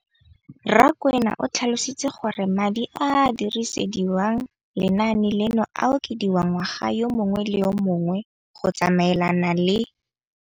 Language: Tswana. Rakwena o tlhalositse gore madi a a dirisediwang lenaane leno a okediwa ngwaga yo mongwe le yo mongwe go tsamaelana le